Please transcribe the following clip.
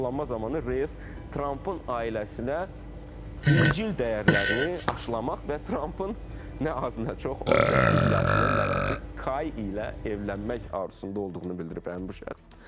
Sorğulanma zamanı Reys Trampın ailəsinə İncil dəyərlərini aşılamaq və Trampın nə az, nə çox 18 yaşlı nəvəsi Kay ilə evlənmək arzusunda olduğunu bildirib həmin bu şəxs.